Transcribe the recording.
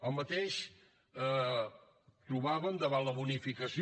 el mateix trobàvem davant la bonificació